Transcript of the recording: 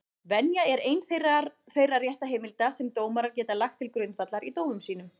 Venja er ein þeirra réttarheimilda sem dómarar geta lagt til grundvallar í dómum sínum.